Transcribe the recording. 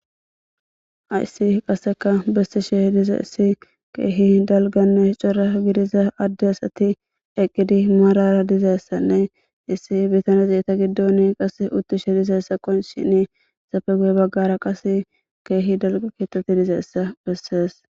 Haysi qassikka bessaara de'iza keehi dalggane cora gidiza adde asatti eqqidi maarara diza issane, issi bittane eta giddone qassi uuttishe de'iza adde qoniccisen, etape guya bagaara qassi keehi dalgga keetatti de'iza eta besses.